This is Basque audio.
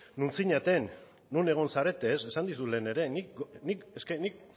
non zinaten non egon zarete esan dizut lehen ere